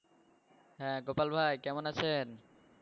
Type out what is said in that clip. হে গোপাল ভাই, কেমন আছেন?